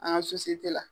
An ka la